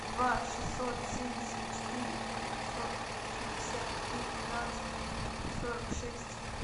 два шестьсот семьдесят четыре девятьсот шестьдесят три пятнадцать сорок шесть